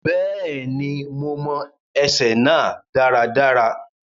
Bẹ́ẹ̀ni, mo mọ ẹsẹ náà dáradára.